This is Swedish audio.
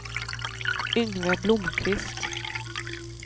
Yngve Blomkvist